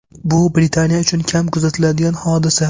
Bu Britaniya uchun kam kuzatiladigan hodisa.